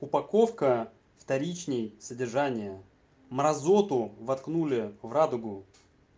упаковка вторичней содержания мразоту воткнули в радугу